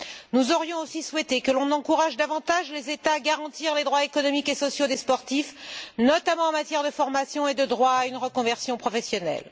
Nous aurions aussi souhaité que l'on encourage davantage les États à garantir les droits économiques et sociaux des sportifs, notamment en matière de formation et de droit à une reconversion professionnelle.